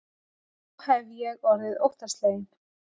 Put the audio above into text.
Þá hef ég orðið óttasleginn.